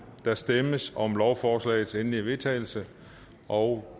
der stemmes om lovforslagets endelige vedtagelse og